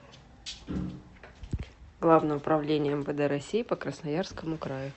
главное управление мвд россии по красноярскому краю